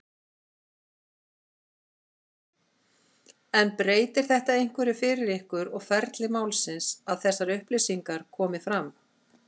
Þóra: En breytir þetta einhverju fyrir ykkur og ferli málsins að þessar upplýsingar komi fram?